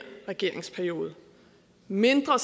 regeringsperiode mindre